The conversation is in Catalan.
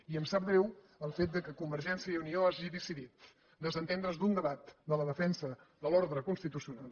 i em sap greu el fet que convergència i unió hagi decidit desentendre’s d’un debat de la defensa de l’ordre constitucional